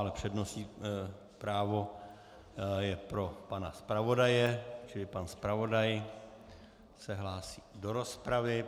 Ale přednostní právo je pro pana zpravodaje, čili pan zpravodaj se hlásí do rozpravy.